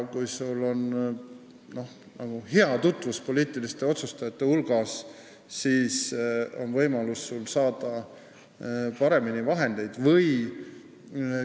Kui sul on häid tutvusi poliitiliste otsustajate hulgas, siis on sul võimalus paremini vahendeid saada.